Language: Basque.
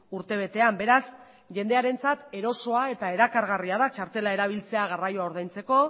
urtebetean beraz jendearentzat erosoa eta erakargarria da txartela erabiltzea garraioa ordaintzeko